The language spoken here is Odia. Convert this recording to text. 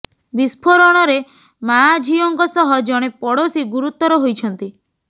ବିସ୍ଫୋରଣରେ ମାଆ ଝିଅଙ୍କ ସହ ଜଣେ ପଡ଼ୋଶୀ ଗୁରୁତର ହୋଇଛନ୍ତି